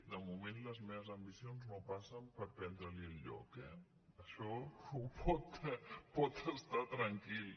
de moment les meves ambicions no passen per prendre li el lloc eh en això pot estar tranquil